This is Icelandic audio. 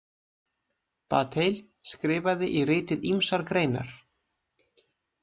Bataille skrifaði í ritið ýmsar greinar.